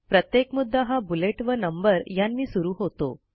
प्रत्येक मुद्दा हा बुलेट वा नंबर यांनी सुरू होतो